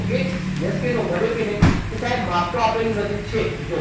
Okay? Yes કે no? બન્યો કે નહીં? તો સાહેબ માપ તો આપેલું નથી. છે જુઓ